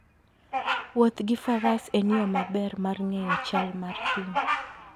Wuoth gi faras en yo maber mar ng'eyo chal mar thim.